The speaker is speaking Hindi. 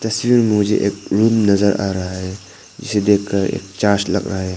इस तस्वीर में मुझे एक रूम नजर आ रहा है जिसे देखकर एक चार्ट लग रहा है।